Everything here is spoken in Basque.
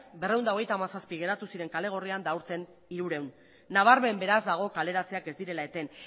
berrehun eta hogeita hamazazpi geratu ziren kale gorrian eta aurten hirurehun nabarmen beraz dago kaleratzeak ez direla eten